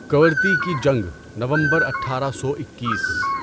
کورتی کی جنگ، نومبر اٹھارہ سو اکیس